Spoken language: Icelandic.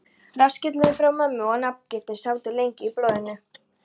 Rassskellurinn frá mömmu og nafngiftin sátu lengi í blóðinu.